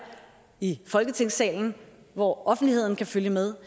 i folketingssalen hvor offentligheden kan følge med